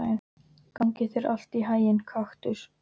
Gangi þér allt í haginn, Kaktus.